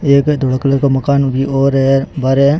एक है धोला कलर का मकान और है बाहरे।